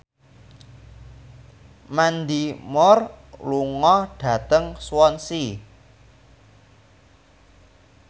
Mandy Moore lunga dhateng Swansea